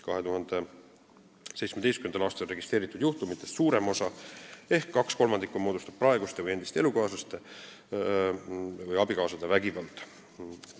2017. aastal registreeritud juhtumitest suurem osa ehk kaks kolmandikku moodustas praeguste või endiste elukaaslaste või abikaasade vägivald.